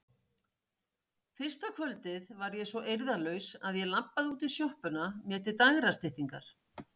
Fyrsta kvöldið var ég svo eirðarlaus að ég labbaði út í sjoppuna mér til dægrastyttingar.